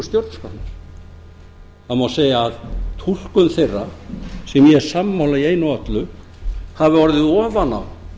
stjórnarskránni það má segja að túlkun þeirra sem ég er sammála í einu og öllu hafi orðið ofan á